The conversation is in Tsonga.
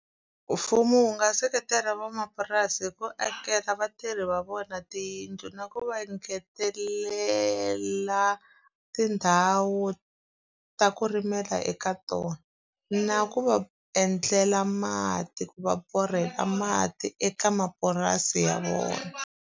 Mfumo wu nga seketela van'wamapurasi hi ku akela vatirhi va vona tiyindlu, na ku va engetelela tindhawu ta ku rimela eka tona. Na ku va endlela mati, ku va borheka mati eka mapurasi ya vona.